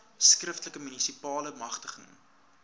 skriftelike munisipale magtiging